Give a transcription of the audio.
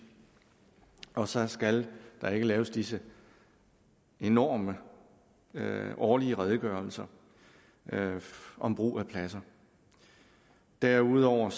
og så skal der ikke laves disse enorme årlige redegørelser om brug af pladser derudover